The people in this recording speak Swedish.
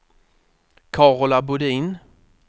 Carola Bodin